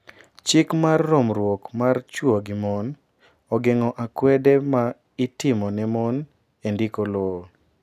Chik mar romruok mar chwo gi mon ogeng’o akwede ma itimo ne mon e ndiko lowo..